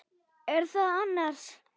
Er það annars?